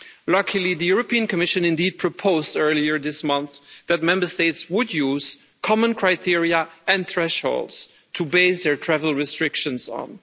Luckily, the Commission indeed proposed earlier this month that Member States would use common criteria and thresholds to base their travel restrictions on.